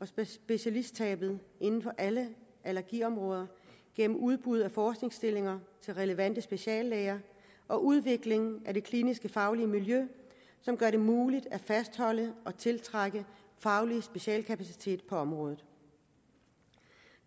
og specialisttabet inden for alle allergiområder gennem udbud af forskningsstillinger til relevante speciallæger og udviklingen af det kliniske faglige miljø som gør det muligt at fastholde og tiltrække faglig specialkapacitet på området